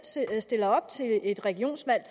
stiller op til et regionsvalg